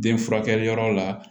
Den furakɛliyɔrɔ la